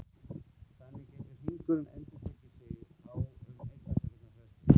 Þannig getur hringurinn endurtekið sig á um einnar sekúndu fresti.